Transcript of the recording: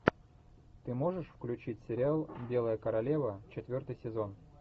ты можешь включить сериал белая королева четвертый сезон